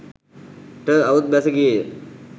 ට අවුත් බැස ගියේ ය.